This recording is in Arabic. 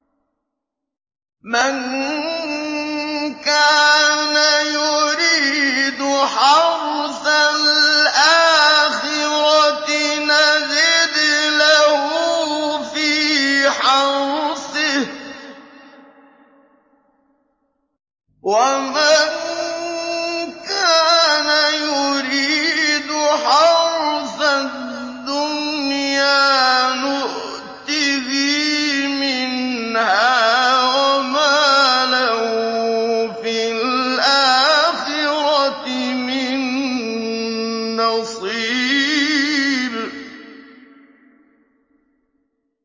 مَن كَانَ يُرِيدُ حَرْثَ الْآخِرَةِ نَزِدْ لَهُ فِي حَرْثِهِ ۖ وَمَن كَانَ يُرِيدُ حَرْثَ الدُّنْيَا نُؤْتِهِ مِنْهَا وَمَا لَهُ فِي الْآخِرَةِ مِن نَّصِيبٍ